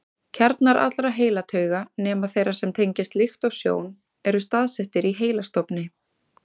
Kjarnar allra heilatauga, nema þeirra sem tengjast lykt og sjón, eru staðsettir í heilastofni.